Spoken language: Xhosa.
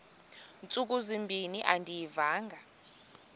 ntsuku zimbin andiyivanga